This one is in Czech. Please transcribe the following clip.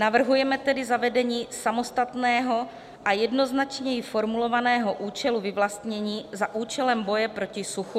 Navrhujeme tedy zavedení samostatného a jednoznačněji formulovaného účelu vyvlastnění za účelem boje proti suchu.